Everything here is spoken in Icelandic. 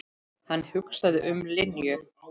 Hann hugsaði um Linju.